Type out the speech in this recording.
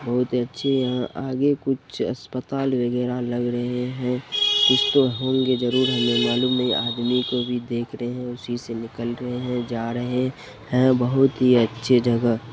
बहुत अच्छी यहाँ आगे कुछ अस्पताल वगैरह लग रहे है कुछ तो होंगे जरूर हमें मालूम नहीं आदमी को भी देख रहे हैं उसी से निकल रहे हैं जा रहे हैं बहुत ही अच्छे जगह --